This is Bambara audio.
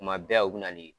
Tuma bɛɛ u bɛ na ni